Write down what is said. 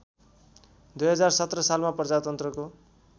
२०१७ सालमा प्रजातन्त्रको